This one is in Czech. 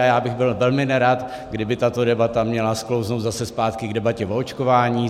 A já bych byl velmi nerad, kdyby tato debata měla sklouznout zase zpátky k debatě o očkování.